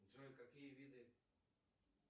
джой какие виды